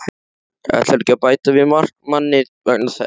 Ætlarðu ekki að bæta við markmanni vegna þess?